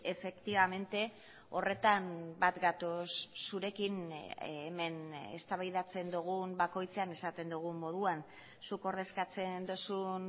efectivamente horretan bat gatoz zurekin hemen eztabaidatzen dugun bakoitzean esaten dugun moduan zuk ordezkatzen duzun